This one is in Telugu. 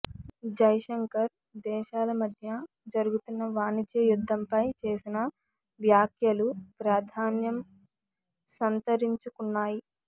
జైశంకర్ దేశాల మధ్య జరుగుతున్న వాణిజ్య యుద్ధంపై చేసిన వ్యాఖ్యలు ప్రాధాన్యం సంతరించుకున్నాయి